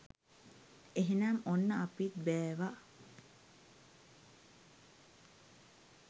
එහෙනම් ඔන්න අපිත් බෑවා